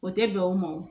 O tɛ bɛn o ma wo